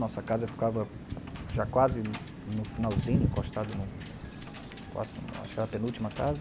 Nossa casa ficava já quase no finalzinho, encostada, no acho que era a penúltima casa.